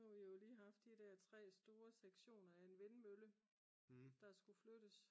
nu har vi jo lige haft de der 3 store sektioner af en vindmølle der skulle flyttes